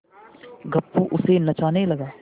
गप्पू उसे नचाने लगा